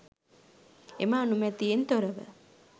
එම අනුමැතියෙන් තොරව